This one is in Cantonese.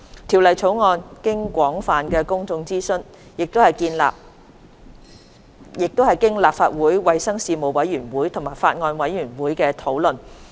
《條例草案》經廣泛的公眾諮詢，並經過立法會衞生事務委員會及法案委員會討論。